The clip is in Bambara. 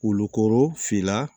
Wolu fila